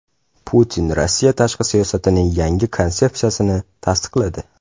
Putin Rossiya tashqi siyosatining yangi konsepsiyasini tasdiqladi.